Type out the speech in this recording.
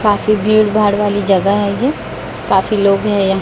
काफी भीड़ भाड़ वाली जगह है ये काफी लोग हैं यहां।